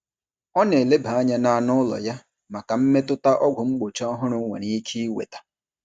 Ọ na-eleba anya na anụ ụlọ ya maka mmetụta ọgwụ mgbochi ọhụrụ nwere ike iweta.